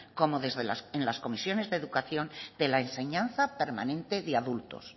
como en las comisiones de educación de la enseñanza permanente de adultos